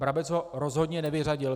Brabec ho rozhodně nevyřadil.